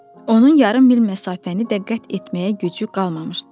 Onun yarım mil məsafəni də qət etməyə gücü qalmamışdı.